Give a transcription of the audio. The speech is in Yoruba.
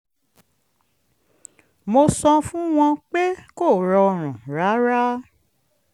mo sọ fún wọn pé kò rọrùn rárá